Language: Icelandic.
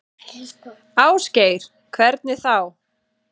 Ásgeir: Hvernig þá?